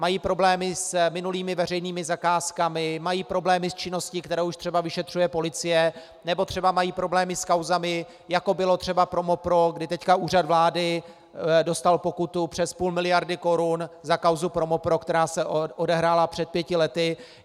Mají problémy s minulými veřejnými zakázkami, mají problémy s činností, kterou už třeba vyšetřuje policie, nebo třeba mají problémy s kauzami, jako bylo třeba Promopro, kdy teď Úřad vlády dostal pokutu přes půl miliardy korun za kauzu Promopro, která se odehrála před pěti lety.